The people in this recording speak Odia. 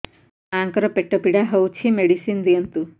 ମୋ ମାଆଙ୍କର ପେଟ ପୀଡା ହଉଛି ମେଡିସିନ ଦିଅନ୍ତୁ